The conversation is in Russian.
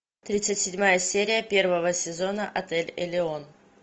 тридцать седьмая серия первого сезона отель элеон